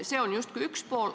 See on justkui üks pool.